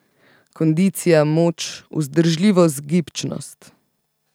Kondicija, moč, vzdržljivost, gibčnost.